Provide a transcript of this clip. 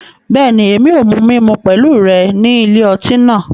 Bẹẹni, Èmí o mu mímú pẹlu rẹ ni ilé ọti náà